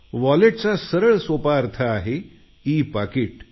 wallet म्हणजे e पाकिट